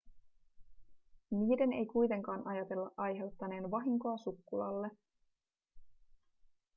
niiden ei kuitenkaan ajatella aiheuttaneen vahinkoa sukkulalle